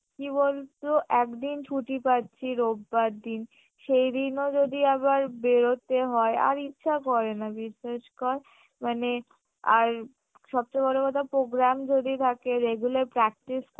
কি বলতো একদিন ছুটি পাচ্ছি রোববারদিন সেদিনও যদি আবার বেরোতে হয় আর ইচ্ছা করে না বিশ্বাস কর মানে আর সবচেয়ে বড় কথা program যদি থাকে regular practice